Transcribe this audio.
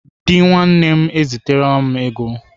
Dị nwanne m eziterela m ego.